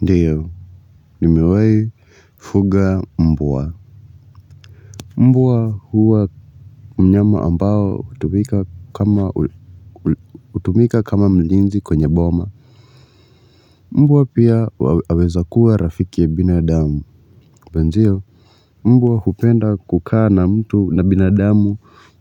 Ndio, nimewai fuga mbwa. Mbwa huwa mnyama ambao hutumika kama mlinzi kwenye boma. Mbwa pia aweza kuwa rafiki ya binadamu. Mbwa hupenda kukaa na mtu na binadamu.